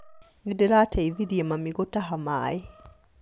Nĩndĩrateithirie mami gũtaha maĩ